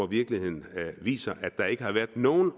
virkeligheden viser at der ikke har været nogen